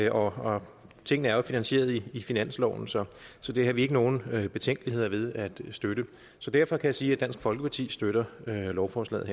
og tingene er jo finansieret i i finansloven så så det har vi ikke nogen betænkeligheder ved at støtte så derfor kan jeg sige at dansk folkeparti støtter lovforslaget